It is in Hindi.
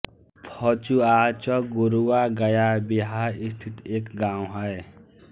फचुआचक गुरुआ गया बिहार स्थित एक गाँव है